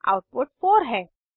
output 4 है